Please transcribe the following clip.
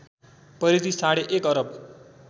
परिधि साढे एक अरब